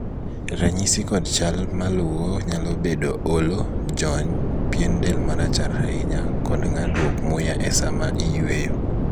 ranyisi kod chal maluwo nyalo bedo olo, jony, pien del marachar ahinya kod ng'adruok muya e saa ma iyueyo